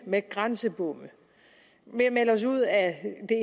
med grænsebomme og ved at melde os ud af det